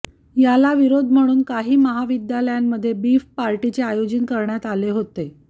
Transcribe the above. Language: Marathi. याला विरोध म्हणून म्हणून काही महाविद्यालयांमध्ये बीफ पार्टीचे आयोजन करण्यात आले होते